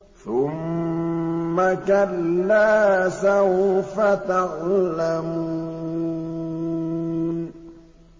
ثُمَّ كَلَّا سَوْفَ تَعْلَمُونَ